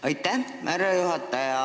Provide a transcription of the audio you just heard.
Aitäh, härra juhataja!